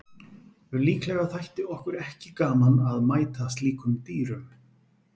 Líklega þætti okkur ekki gaman að mæta slíkum dýrum.